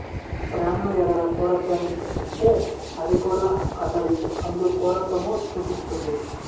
ప్రాణుల ఎడల క్రూరత్వాన్ని చూపిస్తే అవి కూడా అతడి అందుక్రూరత్వము చూపిస్తుంది